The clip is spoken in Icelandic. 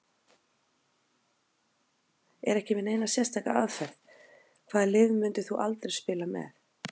Er ekki með neina sérstaka aðferð Hvaða liði myndir þú aldrei spila með?